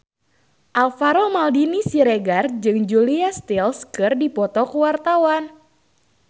Alvaro Maldini Siregar jeung Julia Stiles keur dipoto ku wartawan